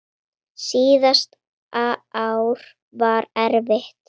Síðasta ár var erfitt.